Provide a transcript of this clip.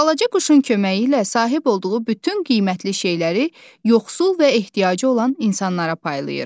Balaca quşun köməyi ilə sahib olduğu bütün qiymətli şeyləri yoxsul və ehtiyacı olan insanlara paylayır.